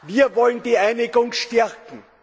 Wir wollen die Einigung stärken.